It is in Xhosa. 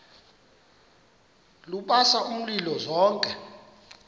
lubasa umlilo zothe